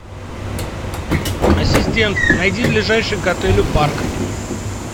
ассистент найди ближайший к отелю парк